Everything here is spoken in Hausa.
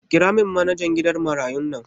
Kiramin manajan gidan marayun nan